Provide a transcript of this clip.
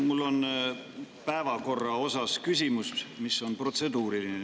Mul on päevakorra kohta küsimus, mis on protseduuriline.